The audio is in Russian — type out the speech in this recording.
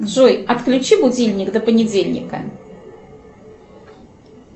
джой отключи будильник до понедельника